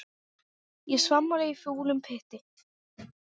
Ég svamla í fúlum pytti.